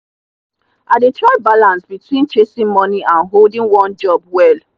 i dey try balance between chasing money and holding one job well.